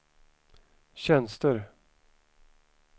tjänster